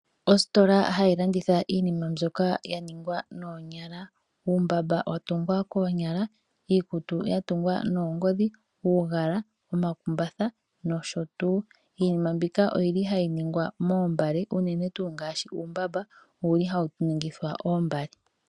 Ositola hayi landitha iinima mbyoka ya ningwa noonyala. Uumbamba wa tungwa koonyala, iikutu ya tungwa noongodhi, uugala, omakumbatha nosho tuu. Iinima mbika ohayi ningwa moombale, unene tuu ngaashi uumbamba ohawu ningithwa oombale.